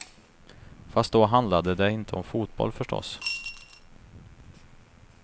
Fast då handlade det inte om fotboll, förstås.